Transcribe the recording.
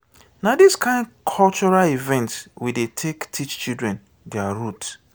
na dis kain cultural event we dey take teach children their root.